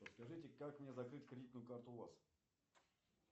подскажите как мне закрыть кредитную карту у вас